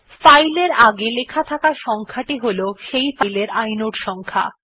file এর আগে লেখা থাকা সংখ্যা টি হল সেই ফাইল এর ইনোড সংখ্যা